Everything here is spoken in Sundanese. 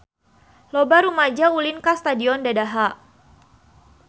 Loba rumaja ulin ka Stadion Dadaha